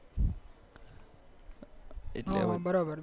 હા બરાબર